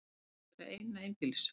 Þetta mun vera eina einbýlis